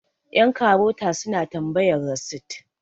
yankarota suna tambayar rasit